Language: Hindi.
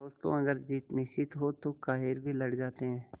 दोस्तों अगर जीत निश्चित हो तो कायर भी लड़ जाते हैं